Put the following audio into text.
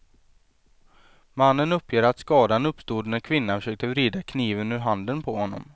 Mannen uppger att skadan uppstod när kvinnan försökte vrida kniven ur handen på honom.